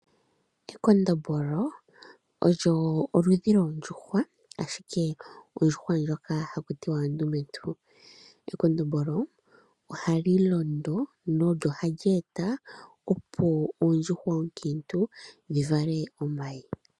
Ekondombolo olyo oludhi lwoondjuhwa ashike ondjuhwa ndjoka haku tiwa ondumentu. Ekondombolo ohali londo nolyo hali eta opo oondjuhwa oonkiintu dhi vale omayi.